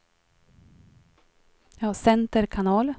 center kanal